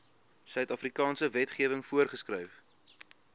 suidafrikaanse wetgewing voorgeskryf